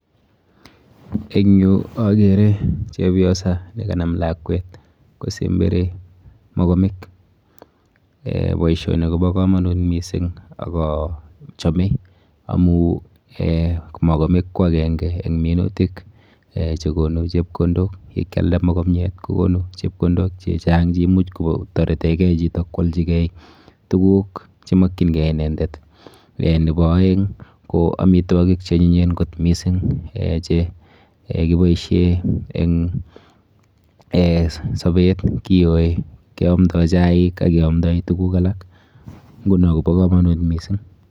Eng yu akere chepyosa nekanam lakwet kosemberi mokomik um boisioni kopo komonut mising ak achome amu um mokomik ko akenke eng minutik um chekonu chepkondok. Yekyalda mokomiet kokonu chepkondok chechang cheimuch kotoretekei chito kwolchikei tuguk chemokchinkei inendet. Nepo oeng ko amitwokik cheonyinyen kot mising um che kiboishe eng[um] sobet, kiyoi keamdoi chaik ak keamdoi tuguk alak, nguno kopo komonut mising.